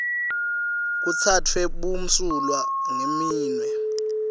kutsatfwe bumsulwa ngeminwe